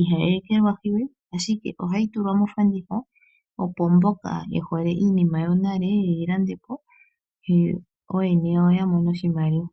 ihayi ekelwahi we, ashike ohayi tulwa mofanditha opo mboka ye hole iinima yonale yeyi lande po. Yo ooyene yawo ya mone oshimaliwa.